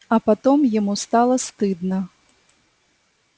а потом ему стало стыдно